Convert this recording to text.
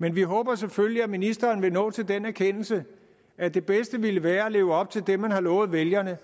men vi håber selvfølgelig at ministeren vil nå til den erkendelse at det bedste ville være at leve op til det man har lovet vælgerne